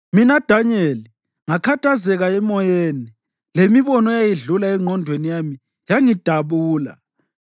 Mina Danyeli, ngakhathazeka emoyeni, lemibono eyayidlula engqondweni yami yangidabula.